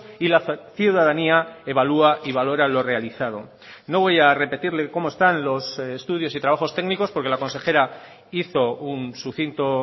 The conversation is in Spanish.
y la ciudadanía evalúa y valora lo realizado no voy a repetirle cómo están los estudios y trabajos técnicos porque la consejera hizo un sucinto